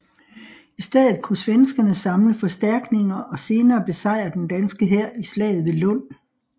I stedet kunne svenskerne samle forstærkninger og senere besejre den danske hær i slaget ved Lund